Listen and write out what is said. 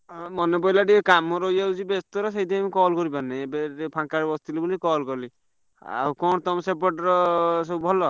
ଅଁ ମାନେ ପଡିଲା ଟିକେ କାମ ରହିଯାଉଛି ଟିକେ ବ୍ୟସ୍ତର ସେଥିପାଇଁ ମୁଁ call କରିପାରୁନି। ଏବେ ଏବେ ଫାଙ୍କାରେ ବସିଥିଲି ବୋଲି call କଲି ଆଉ କଣ ତମ ସେପଟର ସବୁ ଭଲ?